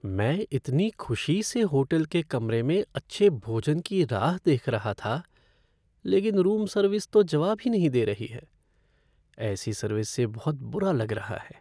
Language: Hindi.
मैं इतनी खुशी से होटल के कमरे में अच्छे भोजन की राह देख रहा था, लेकिन रूम सर्विस तो जवाब ही नहीं दे रही है। ऐसी सर्विस से बहुत बुरा लग रहा है।